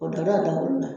O dɔ la dawolo la